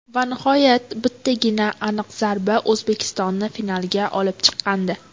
Va nihoyat bittagina aniq zarba O‘zbekistonni finalga olib chiqqandi.